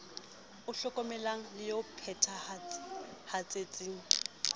o hlokomelang le o phethahatseng